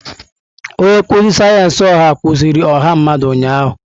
Onye nkuzi sayensị ọha kuziri ọha mmadụ ụnyahụ.